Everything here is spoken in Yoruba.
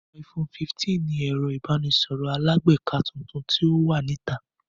iPhone 15 ni ẹ̀rọ ìbánisọ̀rọ̀ alágbèéká tuntun tí ó wà ní ìta